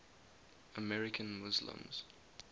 american muslims